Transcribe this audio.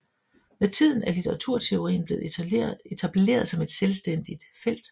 Med tiden er litteraturteorien blevet etableret som et selvstændigt felt